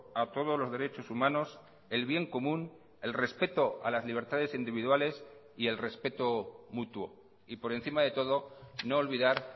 a todos los derechos humanos el bien común el respeto a las libertades individuales y el respeto mutuo y por encima de todo no olvidar